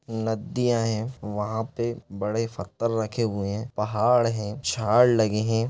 नदिया है वहाँ पे बड़े पत्थर रखे हुए हैं पहाड़ है झाड़ लगे हैं।